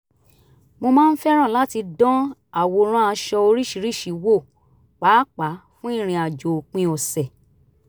wọ́n máa ń fẹ́ràn láti dán àwòrán aṣọ oríṣiríṣi wò pàápàá fún ìrìn àjò òpin ọ̀sẹ̀